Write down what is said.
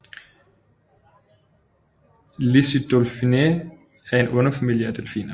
Lissodelphininae er en underfamilie af delfiner